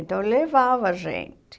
Então, levava a gente.